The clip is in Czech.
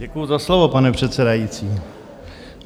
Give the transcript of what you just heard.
Děkuji za slovo, pane předsedající.